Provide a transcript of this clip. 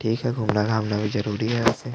ठीक है घूमना -घामना भी ज़रूरी है ऎसे --